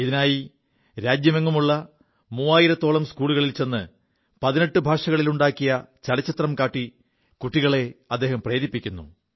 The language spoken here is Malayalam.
ഇതിനായി രാജ്യമെങ്ങുമുള്ള മൂവായിരത്തോളം സ്കൂളുകളിൽ ചെ് 18 ഭാഷകളിലുണ്ടാക്കിയ ചലച്ചിത്രം കാി കുികളെ പ്രേരിപ്പിക്കുു